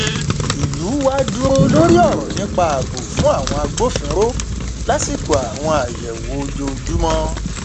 ìlú wa dúró lórí ọrọ nípa ààbò fún àwọn agbófinró lásìkò àwọn àyẹwò ojoojúmọ